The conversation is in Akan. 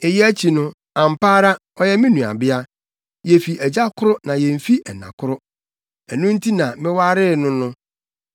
Eyi akyi no, ampa ara, ɔyɛ me nuabea. Yefi agya koro na yemfi ɛna koro. Ɛno nti na mewaree no no.